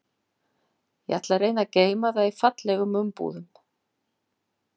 Ég ætla að reyna að geyma það í fallegum umbúðum.